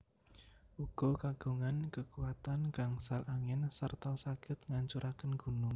Uga kagungan kekuatan gangsal angin serta saged ngancuraken gunung